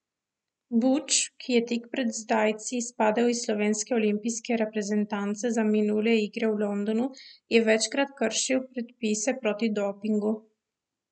Buč, ki je tik pred zdajci izpadel iz slovenske olimpijske reprezentance za minule igre v Londonu, je večkrat kršil predpise proti dopingu.